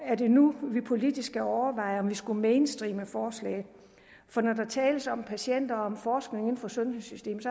er det nu vi politisk skal overveje om vi skulle mainstreame forslaget for når der tales om patienter og om forskning inden for sundhedssystemet